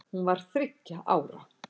Hún var þriggja ára.